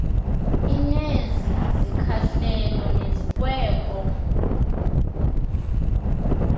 inezi zikhahlelo nezikweko